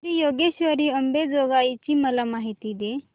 श्री योगेश्वरी अंबेजोगाई ची मला माहिती दे